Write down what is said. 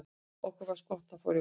okkur finnst gott að fá rjómaís